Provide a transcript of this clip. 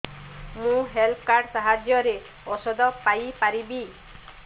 ମୁଁ health card ସାହାଯ୍ୟରେ ଔଷଧ ପାଇ ପାରିବି